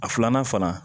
A filanan fana